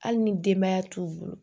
Hali ni denbaya t'u bolo